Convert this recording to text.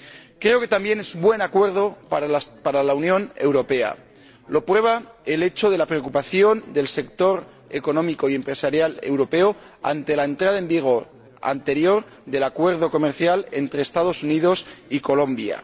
Creo que también es un buen acuerdo para la Unión Europea. Lo prueba la preocupación del sector económico y empresarial europeo ante la entrada en vigor con anterioridad del acuerdo comercial entre los Estados Unidos y Colombia.